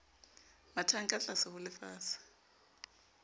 mathang ka tlase ho lefatshe